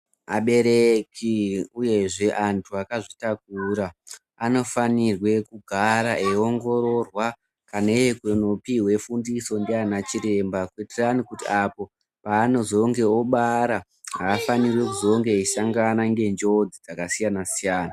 Abereki uyezve antu vakazvitakura anofanirwa kugara eiongororwa kana iye kundopiwa fundiso ndiachiremba kuitirani kuti apo paanozongeobara afanirwi kuzonge eisongane nenjodzi dzakasiya siyana